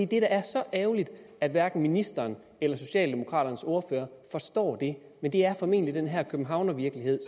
det er så ærgerligt at hverken ministeren eller socialdemokraternes ordfører forstår det men det er formentlig den her københavnervirkelighed